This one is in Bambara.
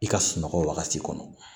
I ka sunɔgɔ wagati kɔnɔ